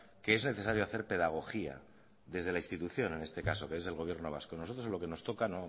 que es necesario hacer pedagogía desde la institución en este caso que es del gobierno vasco nosotros en lo que nos toca